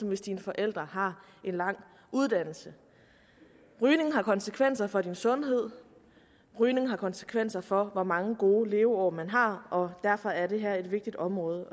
hvis dine forældre har en lang uddannelse rygning har konsekvenser for din sundhed rygning har konsekvenser for hvor mange gode leveår man har og derfor er det her et vigtigt område